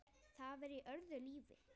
Það var í öðru lífi.